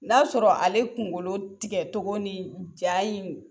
N'a y'a sɔrɔ ale kungolo tigɛ cogo ni ja in